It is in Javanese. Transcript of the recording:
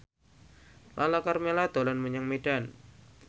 Lala Karmela dolan menyang Medan